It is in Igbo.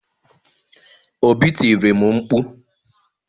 Obi tiri m mkpu.